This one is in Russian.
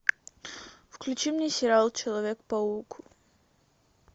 включи мне сериал человек паук